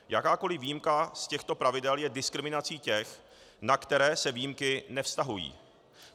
Jakákoliv výjimka z těchto pravidel je diskriminací těch, na které se výjimky nevztahují.